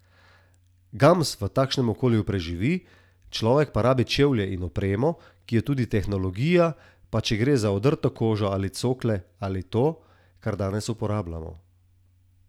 Gams v takšnem okolju preživi, človek pa rabi čevlje in opremo, ki je tudi tehnologija, pa če gre za odrto kožo in cokle ali to, kar danes uporabljamo.